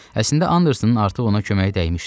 Əslində Andersonun artıq ona kömək dəymişdi.